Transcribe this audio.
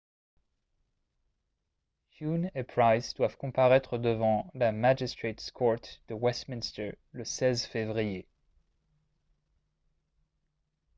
huhne et pryce doivent comparaître devant la magistrates court de westminster le 16 février